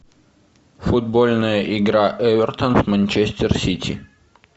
футбольная игра эвертон манчестер сити